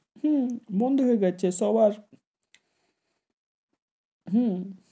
হেঁ, বন্দ হয়ে গেছে সবার, হূ,